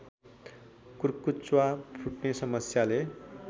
कुर्कुच्चा फुट्ने समस्याले